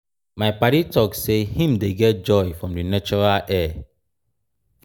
my paddy talk sey im dey get joy from di natural air.